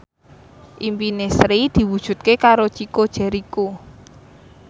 impine Sri diwujudke karo Chico Jericho